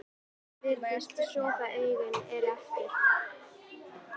Magga virðist sofa, augun eru aftur.